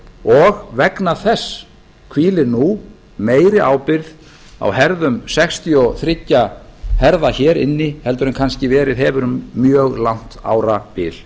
og vegna þess hvílir nú meiri ábyrgð á herðum sextíu og þrjú herða hér inni heldur en kannski hefur verið um mjög langt árabil